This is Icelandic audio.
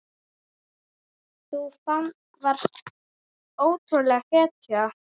Þú varst ótrúleg hetja.